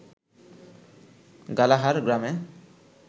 গালাহার গ্রামে